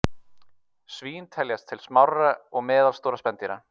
Svín teljast til smárra og meðalstórra spendýra.